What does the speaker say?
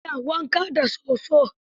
Ba ya wanka da soso.